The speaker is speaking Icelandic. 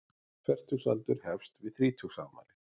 Fertugsaldur hefst við þrítugsafmæli.